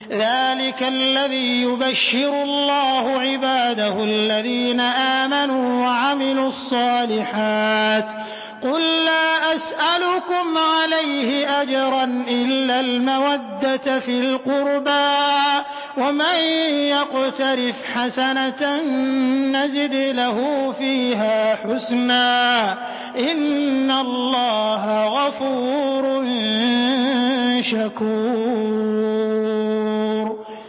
ذَٰلِكَ الَّذِي يُبَشِّرُ اللَّهُ عِبَادَهُ الَّذِينَ آمَنُوا وَعَمِلُوا الصَّالِحَاتِ ۗ قُل لَّا أَسْأَلُكُمْ عَلَيْهِ أَجْرًا إِلَّا الْمَوَدَّةَ فِي الْقُرْبَىٰ ۗ وَمَن يَقْتَرِفْ حَسَنَةً نَّزِدْ لَهُ فِيهَا حُسْنًا ۚ إِنَّ اللَّهَ غَفُورٌ شَكُورٌ